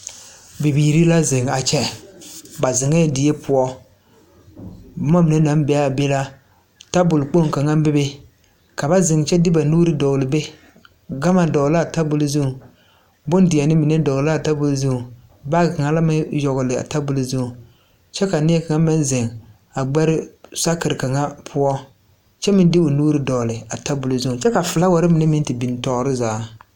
Bibiire la zeŋ a kyɛ ba zeŋɛɛ die poɔ bomma mine naŋ be aa be la tabol kaŋa bebe ka ba zeŋ kyɛ de ba nuure a dɔgle be gama dɔgle laa tabol zuŋ bondeɛne mine dɔgle laa tabol zuŋ baagi kaŋa la meŋ yagle a tabol zuŋ kyɛ ka neɛ kaŋ meŋ zeŋ a gbɛre sakire kaŋa poɔ kyɛ meŋ de o nuure dɔgle a tabol zuo kyɛ ka flaawarre mine meŋ te bin toore zaa.